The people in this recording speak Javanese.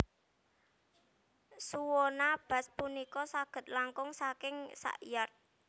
Suona bass punika saged langkung saking sak yard